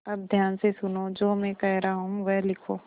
अब ध्यान से सुनो जो मैं कह रहा हूँ वह लिखो